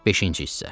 Beşinci hissə.